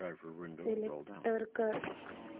select कर